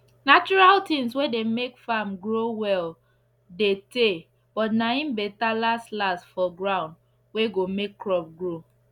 natural tins wey dey make farm grow well dey tey but na im better last last for ground wey go make crop grow